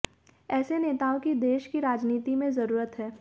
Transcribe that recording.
ऐसे नेताओं की देश की राजनीति में जरूरत है